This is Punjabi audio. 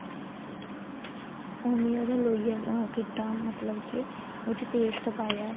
ਉਵੇ ਈ ਉਹਦਾ ਲੋਈਆ ਉਹ ਕੀਤਾ ਮਤਲਬ ਕੀ ਉਸ ਚ paste ਪਾਇਆ